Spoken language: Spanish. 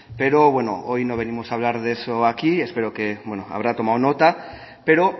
pero hoy no veamos a hablar de eso aquí espero que habrá tomado nota pero